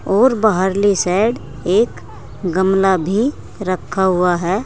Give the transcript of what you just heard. और बाहर ली सैड एक गमला भी रखा हुआ है।